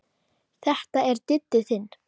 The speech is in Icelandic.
Þetta er Diddi þinn.